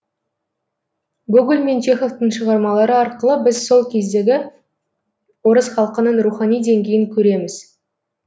гоголь мен чеховтың шығармалары арқылы біз сол кездегі орыс халқының рухани деңгейін көреміз